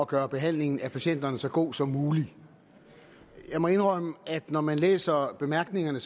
gøre behandlingen af patienterne så god som muligt jeg må indrømme at når man læser bemærkningerne